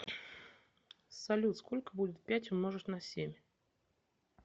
салют сколько будет пять умножить на семь